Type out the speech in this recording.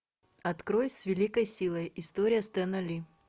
открой с великой силой история стэна ли